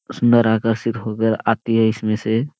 उस आती है इसमें से।